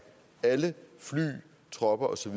alle fly tropper og så